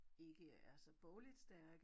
ikke er så bogligt stærke